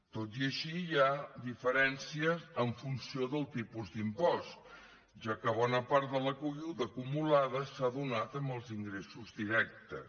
tot i així hi ha diferències en funció del tipus d’impost ja que bona part de la caiguda acumulada s’ha donat en els ingressos directes